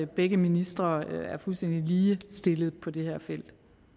begge ministre er fuldstændig ligestillede på det her felt